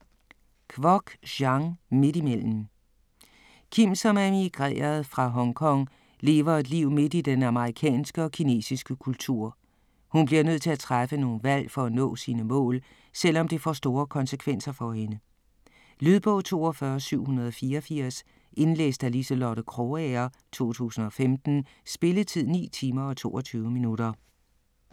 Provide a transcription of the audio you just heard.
Kwok, Jean: Midt imellem Kim, som er emigreret fra Hongkong, lever et liv midt i den amerikanske og den kinesiske kultur. Hun bliver nødt til at træffe nogle valg for at nå sine mål, selv om det får store konsekvenser for hende. Lydbog 42784 Indlæst af Liselotte Krogager, 2015. Spilletid: 9 timer, 22 minutter.